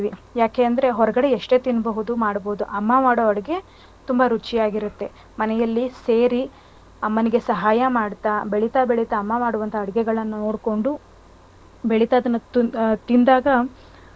ಯಾಕೆ ಅಂದ್ರೆ ಹೊರ್ಗಡೆ ಎಷ್ಟೇ ತಿನ್ಬಹುದು ಮಾಡ್ಬಹುದು ಅಮ್ಮ ಮಾಡೋ ಅಡ್ಗೆ ತುಂಬ ರುಚಿಯಾಗಿರುತ್ತೆ. ಮನೆಯಲ್ಲಿ ಸೇರಿ ಅಮ್ಮನಿಗೆ ಸಹಾಯ ಮಾಡ್ತಾ ಬೆಳಿತಾಬೆಳಿತಾ ಅಮ್ಮ ಮಾಡುವಂತ ಅಡಿಗೆಗಳ್ಳನ್ನು ನೋಡ್ಕೊಂಡು ಬೆಳೀತಾ ತಿನ್~ ತಿಂದಾಗ,